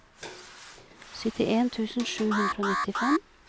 syttien tusen sju hundre og nittifem